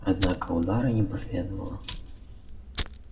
однако удара не последовало